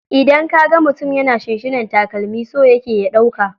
Idan ka ga mutum yana shinshina takalami, so yake ya ɗauka.